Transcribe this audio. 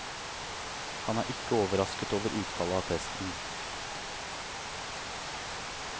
Han er ikke overrasket over utfallet av testen.